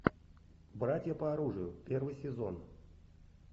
братья по оружию первый сезон